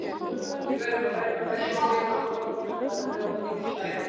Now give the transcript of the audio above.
Við verðum að verjast vel, nota boltann gáfulega og nýta færin.